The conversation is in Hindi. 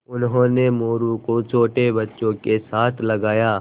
उन्होंने मोरू को छोटे बच्चों के साथ लगाया